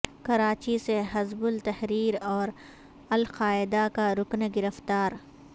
کراچی سے حزب التحریر اور القاعدہ کا رکن گرفتار